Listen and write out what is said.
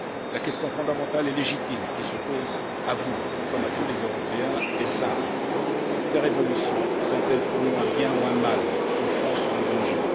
La question fondamentale et légitime qui se pose à vous comme à tous les Européens est simple ces révolutions sont elles pour nous un bien ou un mal, une chance ou un danger?